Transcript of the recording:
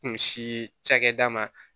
Kun si cakɛda ma